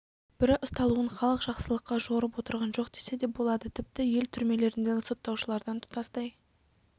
бірі ұсталуын халық жақсылыққа жорып отырған жоқ десе де болады тіпті ел түрмелеріндегі сотталушылардан тұтастай